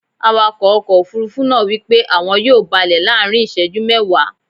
Awakọ̀ ọkọ̀ Òfurufú náà wípé àwọn yóò balẹ̀ láàrín iseju mẹ́ẹ̀wá.